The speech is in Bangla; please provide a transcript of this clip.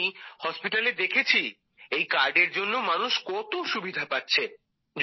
আমি হসপিটালে দেখেছি এই কার্ডের জন্য মানুষ কত সুবিধা পাচ্ছে